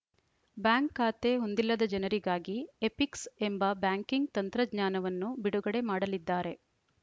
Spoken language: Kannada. ಬ್ಯಾಂಕ್‌ ಖಾತೆ ಹೊಂದಿಲ್ಲದ ಜನರಿಗಾಗಿ ಎಪಿಕ್ಸ್‌ ಎಂಬ ಬ್ಯಾಂಕಿಂಗ್‌ ತಂತ್ರಜ್ಞಾನವನ್ನು ಬಿಡುಗಡೆ ಮಾಡಲಿದ್ದಾರೆ